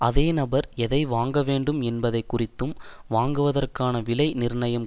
அதே நபர் எதை வாங்க வேண்டும் என்பதை குறித்தும் வாங்குவதற்கான விலை நிர்ணயம்